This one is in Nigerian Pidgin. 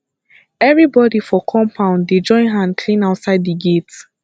everybodi for compound dey join hand clean outside di gate